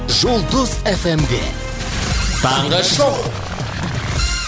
жұлдыз эф эм де таңғы шоу